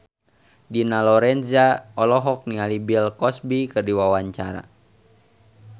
Dina Lorenza olohok ningali Bill Cosby keur diwawancara